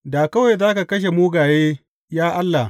Da kawai za ka kashe mugaye, ya Allah!